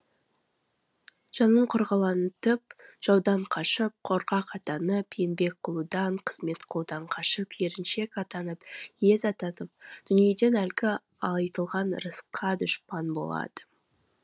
жанын қорғалатып жаудан қашып қорқақ атанып еңбек қылудан қызмет қылудан қашып еріншек атанып ез атанып дүниеде әлгі айтылған ырысқа дұшпан болады